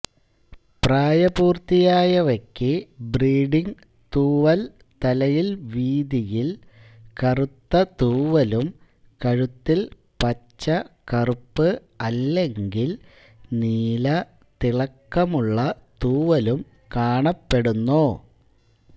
പ്രായപൂർത്തിയായവയ്ക്ക് breeding തൂവൽ തലയിൽ വീതിയിൽ കറുത്ത തൂവലും കഴുത്തിൽ പച്ച കറുപ്പ് അല്ലെങ്കിൽ നീല തിളക്കമുള്ള തൂവലും കാണപ്പെടുന്നു